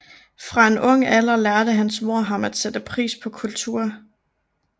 Fra en ung alder lærte hans mor ham at sætte pris på kultur